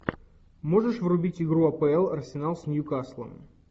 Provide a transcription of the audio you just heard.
можешь врубить игру апл арсенал с ньюкаслом